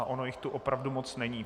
A ono jich tu opravdu moc není.